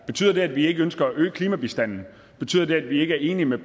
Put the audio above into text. betyder det at vi ikke ønsker at øge klimabistanden betyder det at vi ikke enige med